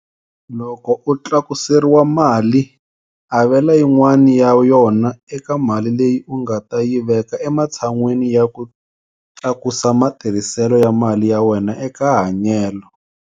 Loko u tlakuseriwa mali, avela yin'wana ya yona eka mali leyi u nga ta yi veka ematshan'weni ya ku tlakusa matirhiselo ya mali ya wena eka hanyelo.